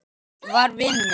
var vinur minn.